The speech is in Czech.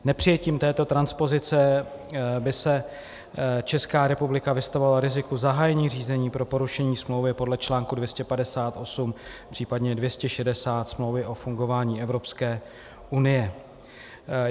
Nepřijetím této transpozice by se Česká republika vystavovala riziku zahájení řízení pro porušení smlouvy podle článku 258, případně 260 Smlouvy o fungování Evropské unie.